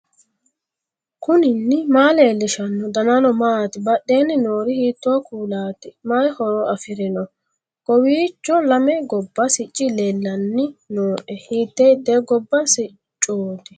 knuni maa leellishanno ? danano maati ? badheenni noori hiitto kuulaati ? mayi horo afirino ? kowiicho lame gobba sicci leellanni nooe hiite hiite gobba siccooti